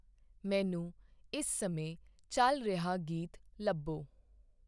ਮੈਨੂੰ ਇਸ ਸਮੇਂ ਚੱਲ ਰਿਹਾ ਗੀਤ ਲੱਭੋ